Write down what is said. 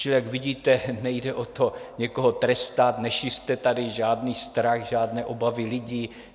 Čili jak vidíte, nejde o to, někoho trestat, nešiřte tady žádný strach, žádné obavy lidí.